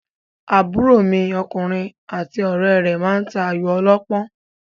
Àbúrò mi ọkùnrin àti ọ̀rẹ́ rẹ̀ máa ta Ayò ọlọ́pọ́n.